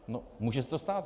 No může se to stát.